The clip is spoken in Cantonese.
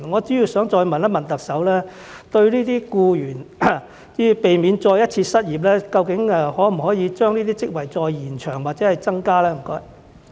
所以，我想再問特首，對於這些僱員，避免他們再次失業，究竟可否把這些職位再延長或增加呢？